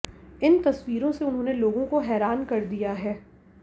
इन तस्वीरों से उन्होंने लोगों को हैरान कर दिया है